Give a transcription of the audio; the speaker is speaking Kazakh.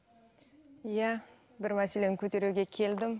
иә бір мәселені көтеруге келдім